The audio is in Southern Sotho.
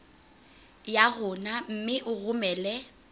ya rona mme o romele